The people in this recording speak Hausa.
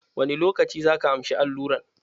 Wani lokaci zaka amshi alluran?